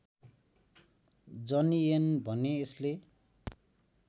जनिएन भने यसले